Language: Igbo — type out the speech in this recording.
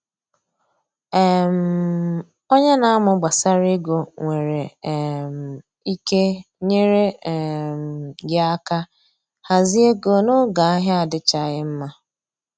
um Onye na amụ gbasara ego nwere um ike nyere um gị aka hazie ego n’oge ahịa adịchaghị mma